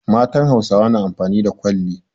Matan Hausawa na amfani da kwalli.